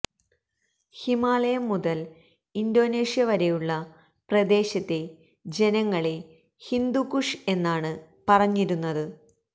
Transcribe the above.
ഹിമാലയം മുതൽ ഇന്തോനേഷ്യ വരെയുള്ള പ്രദേശത്തെ ജനങ്ങളെ ഹിന്ദുക്കുഷ് എന്നാണ് പറഞ്ഞിരുന്നത്